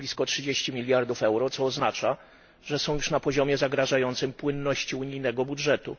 r. blisko 30 mld EUR, co oznacza, że są już na poziomie zagrażającym płynności unijnego budżetu.